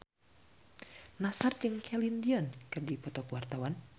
Nassar jeung Celine Dion keur dipoto ku wartawan